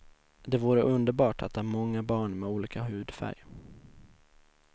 Det vore underbart att ha många barn med olika hudfärg.